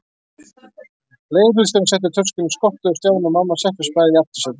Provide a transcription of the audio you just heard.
Leigubílstjórinn setti töskuna í skottið og Stjáni og mamma settust bæði í aftursætið.